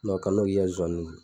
kana o kɛ i ka zozaniw na.